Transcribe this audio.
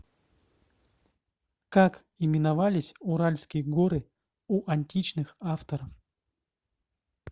как именовались уральские горы у античных авторов